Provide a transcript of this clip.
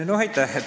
Aitäh!